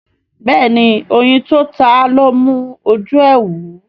béèni oyin tó táa lọ mú oju e wú.